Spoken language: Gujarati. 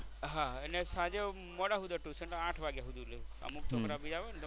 હા અને સાંજે હું મોડા ટયુશન સાંજે આઠ વાગ્યા સુધી લઉ. અમુક છોકરા બીજા હોય ને